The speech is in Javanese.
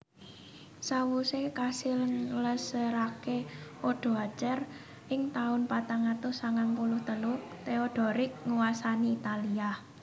Sawusé kasil nglèngsèraké Odoacer ing taun patang atus sangang puluh telu Theodoric nguwasani Italia